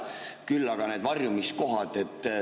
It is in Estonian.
Küll aga on need varjumiskohad.